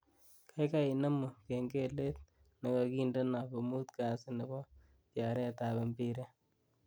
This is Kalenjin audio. Gaigai inemu kengelet negagindeno komuut Kasi nebo tyaretab mbiret